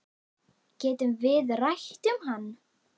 Getum við rætt um hann?